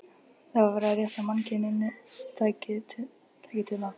Það var verið að rétta mannkyninu tæki til að